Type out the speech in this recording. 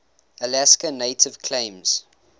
alaska native claims